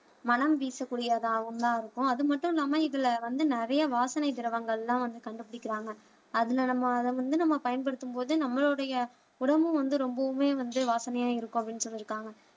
மனம் வீசக்கூடியதாகவும்தான் இருக்கும் அது மட்டும் இல்லாம இதுல வந்து நிறைய வாசனை திரவங்கள்லாம் வந்து கண்டு பிடிக்கிறாங்க அதுல நம்ம அதை வந்து நம்ம பயன்படுத்தும் போது நம்மளுடைய உடம்பும் வந்து ரொம்பவுமே வந்து வாசனையா இருக்கும் அப்படின்னு சொல்லியிருக்காங்க